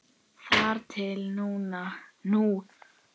Þar til nú.